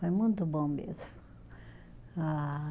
Foi muito bom mesmo. Ah